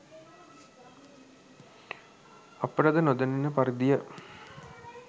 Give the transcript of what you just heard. අපට ද නො දැනෙන පරිදි ය.